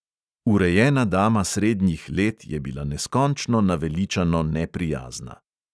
Urejena dama srednjih let je bila neskončno naveličano neprijazna.